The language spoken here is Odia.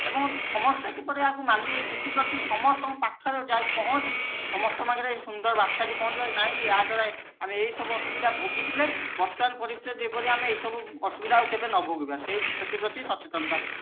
ଏବଂ ସମସ୍ତେ ଏହାକୁ କେମିତି ମାନିବେ ସେଥି ପାଇଁ ସମସ୍ତଙ୍କ ପାଖରେ ପହଞ୍ଚି ସମସ୍ତ ଙ୍କ ପାଖରେ ସୁନ୍ଦର ବାର୍ତା ଟି ପହଞ୍ଚେଇବା ନାଇଁ ୟା ଦ୍ଵାରା ଆମେ ଏଇ ସବୁ ଅସୁବିଧା ଭୋଗିଥିଲେ ବର୍ତମାନ ପରିସ୍ଥିତି ରେ ଯେପରି ଆମେ ଏଇ ସବୁ ଅସୁବିଧା ଆଉ କେବେ ନ ଭୋଗିବା ସେଥି ପ୍ରତି ସଚେତନତା ହେବା